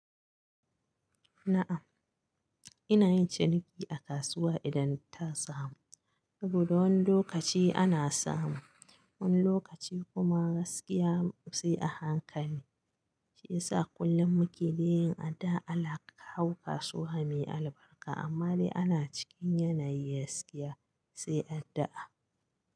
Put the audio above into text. Na'am, ina yin ciniki a kasuwa idan ta samu. Saboda wani lokaci ana samu, wani lokaci kuma gaskiya sai a hankali. Shi ya sa kullum muke yin addu'a Allah ya kawo kasuwa mai albarka. Amma dai ana cikin yanayi gaskiya sai addu'a.